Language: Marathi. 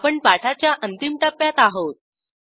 आपण पाठाच्या अंतिम टप्प्यात आहोत